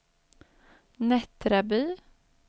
Nättraby